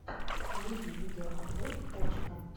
найди видеообзор вовчика